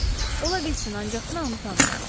Ola bilsin, ancaq mən onu tanımıram.